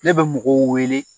Ne bɛ mɔgɔw weele